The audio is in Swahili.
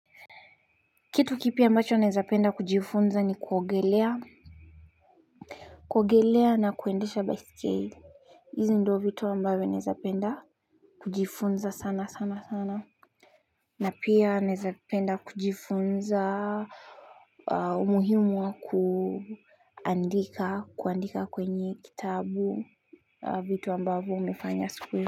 Kitu kipya ambacho naezapenda kujifunza ni kuogelea. Kuogelea na kuendesha baisikeli izo ndio vitu ambavyo naezapenda kujifunza sana sana sana. Na pia naezapenda kujifunza umuhimu wa kuandika kuandika kwenye kitabu vitu ambavyo umefanya siku.